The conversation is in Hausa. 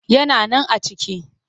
Yana nan a ciki